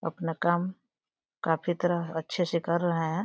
अपना काम काफी तरह अच्छे से कर रहे हैं।